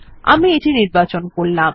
আমি এটি নির্বাচন করলাম